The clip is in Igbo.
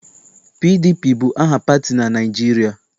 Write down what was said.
PDP bụ aha pati na Naịjirịa.